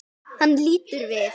Hann lítur við.